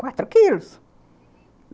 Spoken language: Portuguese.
Quatro quilos.